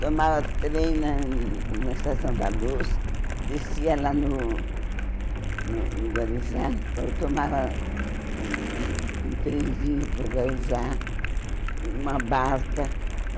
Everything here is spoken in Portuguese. Tomava trem na na Estação da Luz, descia lá no no no Guarujá, to tomava um um trenzinho para o Guarujá, uma barca.